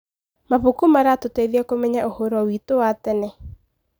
Mabuku maratũteithia kũmenya ũhoro witũ wa tene.